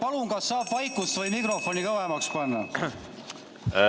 Palun, kas saab vaikust või mikrofoni kõvemaks panna?